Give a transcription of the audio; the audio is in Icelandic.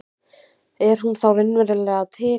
Er hún þá raunverulega til?